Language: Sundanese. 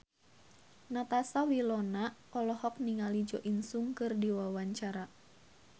Natasha Wilona olohok ningali Jo In Sung keur diwawancara